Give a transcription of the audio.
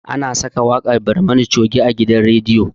Ana saka waƙar barmani coge a gidan rediyo